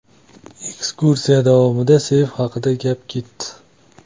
Ekskursiya davomida seyf haqida gap ketdi.